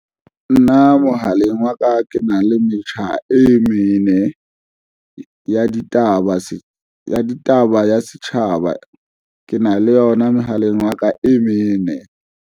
Nna mohaleng wa ka ke na le metjha e mene ya ditaba ya setjhaba, ke na le yona mohaleng wa ka e mene.